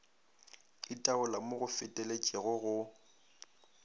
itaola mo go feteletšego go